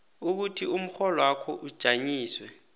ukuthi umrholwakho ujanyiswe